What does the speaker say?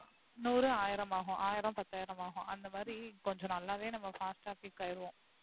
நூறு ஆயிரம் ஆகும். ஆயிரம் பத்தாயிரம் ஆகும் அந்த மாதிரி கொஞ்சம் நல்லாவே நாம Fast ஆ Pick ஆயிருவோம்.